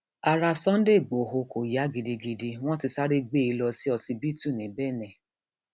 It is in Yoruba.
ara sunday igbodò kò yá gidigidi wọn ti sáré gbé e lọ ṣíṣíbítù ní bẹnẹ